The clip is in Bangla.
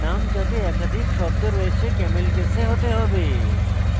names যাতে একাধিক শব্দ রয়েছে ক্যামেল কেসে camel case হতে হবে